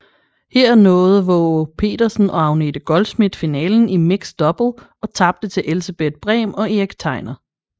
Her nåede Waagepetersen og Agnete Goldschmidt finalen i mixed double og tabte til Elsebeth Brehm og Erik Tegner